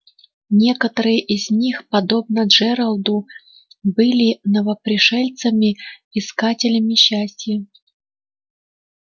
некоторые из них подобно джералду были новопришельцами искателями счастья